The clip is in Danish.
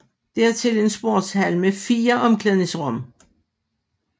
Dertil en sportshal med fire omklædningsrum